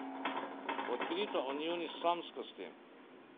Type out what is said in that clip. Odkrito o njuni samskosti.